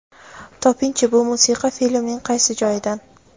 Topingchi bu musiqa filmning qaysi joyidan?.